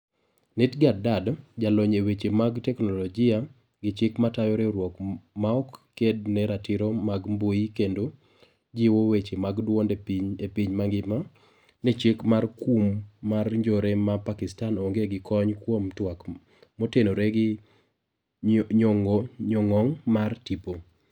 Nighat Dad ,jalony eweche mag technolojia ,gi chik matayo riwruok maok ked ne ratiro mag mbui kendo jiwo weche mag duonde epiny mangima, ni chik mar kum mar njore ma pakistan onge gi kony kuom twak motenore gi nyong'ong' mar tipo.